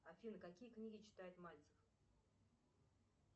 афина какие книги читает мальцев